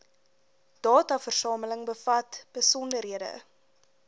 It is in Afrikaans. dataversameling bevat besonderhede